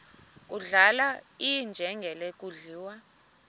kudlala iinjengele zidliwa